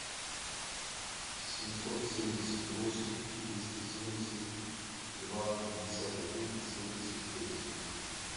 семьсот семьдесят восемь триста семьдесят два пятьдесят один семьдесят пять